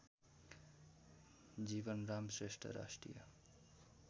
जीवनराम श्रेष्ठ राष्ट्रिय